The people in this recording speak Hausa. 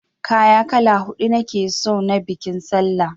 Kaya kala huɗu nake son na biƙin sallah!